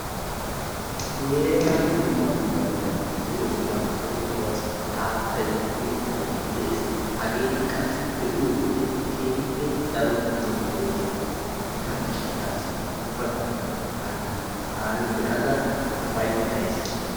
Nu heeran dumma dumma meretati de"oosona leemisuwassi haattayi, mittayi de"es hageeti qassi be"iyode keehippe daro lo"oosona hegaa gishshataassi ubba galla hageeta taani be"ada ufayittayis.